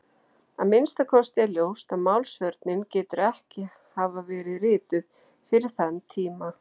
Að minnsta kosti er ljóst að Málsvörnin getur ekki hafa verið rituð fyrir þann tíma.